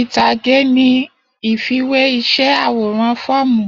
Itage ni a ifiwe išẹ aworan fọọmu